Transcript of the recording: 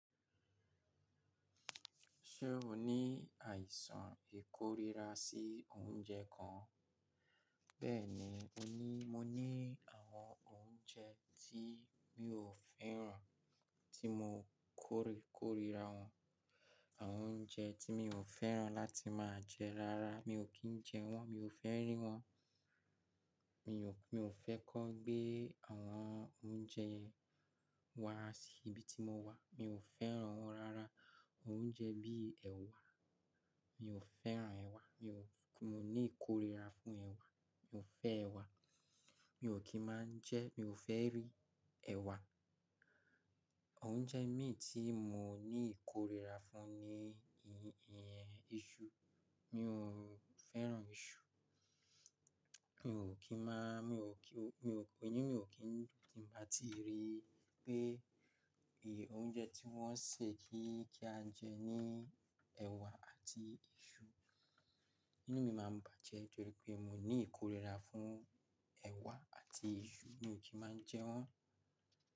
Ṣé o ní àìsàn ìkorira sí oúnjẹ kan? Bẹ́ẹ̀ni, mo ní, mo ní àwọn oúnjẹ tí mi ò fẹ́ràn tí mo kórìkòrira wọ́n. Àwọn oúnjẹ tí mi ò fẹ́ràn láti máa jẹ rara. Mi ò kí ń jẹ wọ́n, mi ò fẹ́ rí wọ́n. Mi ò, mi ò fẹ́ kó gbé àwọn oúnjẹ yẹn wá sí ibi tí mo wà. Mi ò fẹ́ràn wọ́n rara. Oúnjẹ bí i ẹ̀wà, mi ò fẹ́ràn ẹ̀wà. Mi ò, mo ní ìkorira fún ẹ̀wà. Mi ò fẹ́ ẹ̀wà. Mi ò kí ń máa ń jẹ́, mi ò fẹ́ rí ẹ̀wà. Oúnjẹ mìí tí mo ní ìkorira fún ni iṣu. Mi ò fẹ́ràn iṣu. Mi ò kí máa, mi ò kí, mi ò kí, inú mi ò kí dun tí ń ba ti rí pé ì, oúnjẹ tí wọ́n sè kí kí á jẹ ni ẹ̀wà àti iṣu. Inú mi máa ń bàjẹ́ torí pé mo ní ìkorira fún ẹ̀wà àti iṣu. Mi ò kí máa ń jẹ wọ́n.